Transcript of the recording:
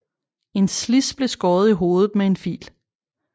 En slids blev skåret i hovedet med en fil